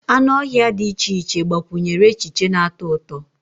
Anụ ọhịa dị iche iche gbakwunyere echiche na-atọ ụtọ